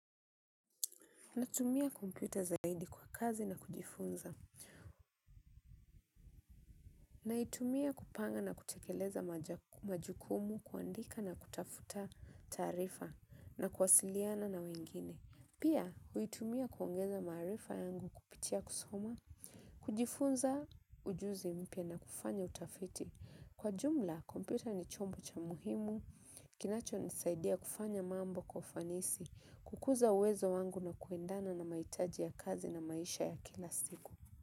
Natumia kompyuta zaidi kwa kazi na kujifunza. Naitumia kupanga na kutekeleza majukumu kuandika na kutafuta taarifa na kuasiliana na wengine. Pia, huitumia kuongeza maarifa yangu kupitia kusoma. Kujifunza ujuzi mpya na kufanya utafiti. Kwa jumla, kompyuta ni chombo cha muhimu. Kinacho nisaidia kufanya mambo kwa ufanisi. Kukuza uwezo wangu na kuendana na maitaji ya kazi na maisha ya kila siku.